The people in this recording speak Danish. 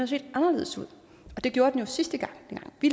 set anderledes ud det gjorde den jo sidste gang dengang vi